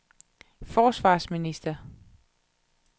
forsvarsminister